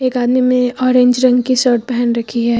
एक आदमी में ऑरेंज रंग की शर्ट पहन रखी है।